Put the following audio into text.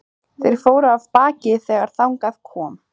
Þeir fóru af baki þegar þangað kom.